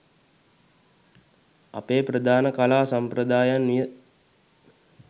අපේ ප්‍රධාන කලා සම්ප්‍රදායන් විය.